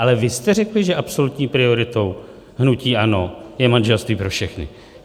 Ale vy jste řekli, že absolutní prioritou hnutí ANO je manželství pro všechny.